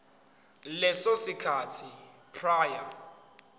leso sikhathi prior